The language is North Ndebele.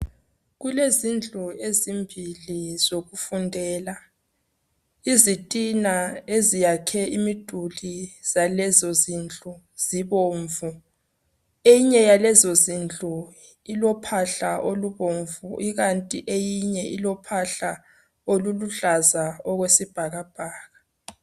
Kulezindlu ezimbili sokufundela izitina eziyakhe imiduli zalezozindlu zibomvu eyinye yalezo zindlu ilophahla olobomvu ikanti eyinye ilophahla oluluhlaza okwesibhabhakala.